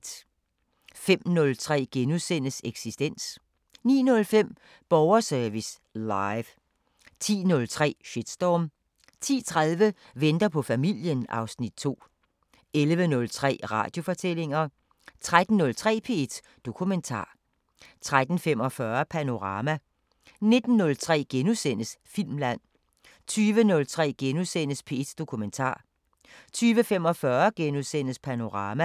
05:03: Eksistens * 09:05: Borgerservice Live 10:03: Shitstorm 10:30: Venter på familien (Afs. 2) 11:03: Radiofortællinger 13:03: P1 Dokumentar 13:45: Panorama 19:03: Filmland * 20:03: P1 Dokumentar * 20:45: Panorama *